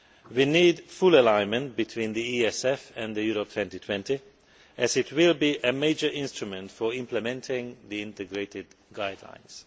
We need full alignment between the ESF and Europe 2020 as it will be a major instrument for implementing the integrated guidelines.